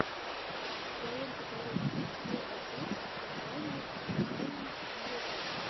в твоем каталоге есть первая часть сурвариум официальный видеоканал